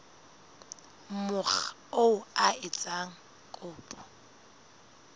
mokga oo a etsang kopo